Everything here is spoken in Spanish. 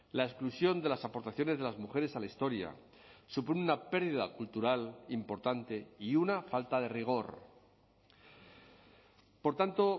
la exclusión de las aportaciones de las mujeres a la historia supone una pérdida cultural importante y una falta de rigor por tanto